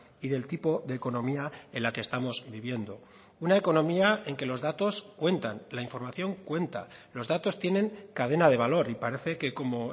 y del tipo de economía en la que estamos viviendo una economía en que los datos cuentan la información cuenta los datos tienen cadena de valor y parece que como